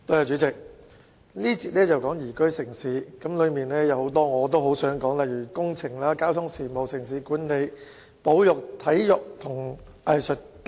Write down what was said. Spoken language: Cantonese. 主席，這個環節是談"宜居城市"，當中有很多政策範疇我也想說說，例如工程、交通事務、城市管理、保育、體育和藝術等。